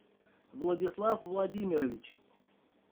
владислав владимирович